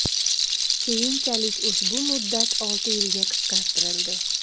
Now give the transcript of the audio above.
Keyinchalik ushbu muddat olti yilga qisqartirildi.